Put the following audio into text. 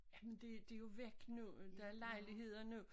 Jamen det det jo væk nu øh der er lejligheder nu